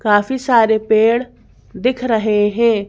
काफी सारे पेड़ दिख रहे है।